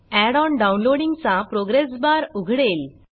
add on डाऊनलोडींगचा progress bar उघडेल